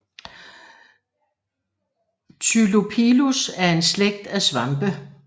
Tylopilus er en slægt af svampe